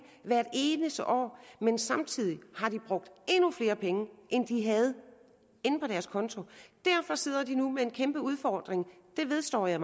hvert eneste år men samtidig har de brugt endnu flere penge end de havde på deres konto derfor sidder de nu med en kæmpe udfordring det vedstår jeg